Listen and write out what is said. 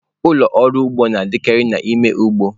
Ụlọ ọrụ ugbo na-adịkarị n'ime ugbo.